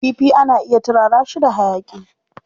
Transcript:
Kifi ana iya turara shi da hayaƙi.